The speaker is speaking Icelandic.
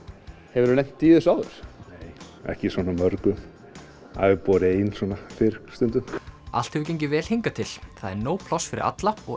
hefur þú lent í þessu áður nei ekki svona mörgum það hefur borið ein svona fyrr stundum allt hefur gengið vel hingað til það er nóg pláss fyrir alla og